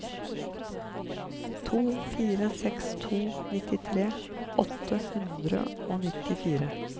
to fire seks to nittitre åtte hundre og nittifire